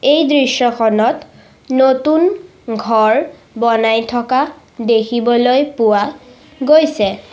এই দৃশ্যখনত নতুন ঘৰ বনাই থকা দেখিবলৈ পোৱা গৈছে।